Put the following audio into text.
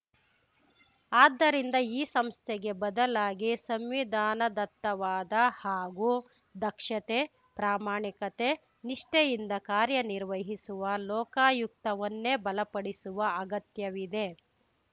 ಆದ್ದರಿಂದ ಈ ಸಂಸ್ಥೆಗೆ ಬದಲಾಗಿ ಸಂವಿಧಾನದತ್ತವಾದ ಹಾಗೂ ದಕ್ಷತೆ ಪ್ರಾಮಾಣಿಕತೆ ನಿಷ್ಠೆಯಿಂದ ಕಾರ್ಯನಿರ್ವಹಿಸುವ ಲೋಕಾಯುಕ್ತವನ್ನೇ ಬಲಪಡಿಸುವ ಅಗತ್ಯವಿದೆ